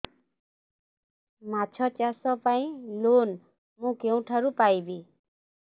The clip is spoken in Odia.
ମାଛ ଚାଷ ପାଇଁ ଲୋନ୍ ମୁଁ କେଉଁଠାରୁ ପାଇପାରିବି